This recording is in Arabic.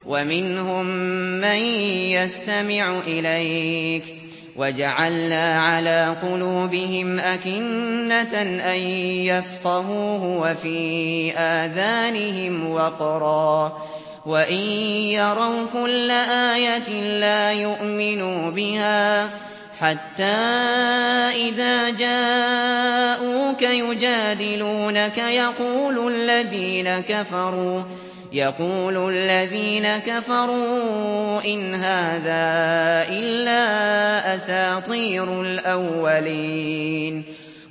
وَمِنْهُم مَّن يَسْتَمِعُ إِلَيْكَ ۖ وَجَعَلْنَا عَلَىٰ قُلُوبِهِمْ أَكِنَّةً أَن يَفْقَهُوهُ وَفِي آذَانِهِمْ وَقْرًا ۚ وَإِن يَرَوْا كُلَّ آيَةٍ لَّا يُؤْمِنُوا بِهَا ۚ حَتَّىٰ إِذَا جَاءُوكَ يُجَادِلُونَكَ يَقُولُ الَّذِينَ كَفَرُوا إِنْ هَٰذَا إِلَّا أَسَاطِيرُ الْأَوَّلِينَ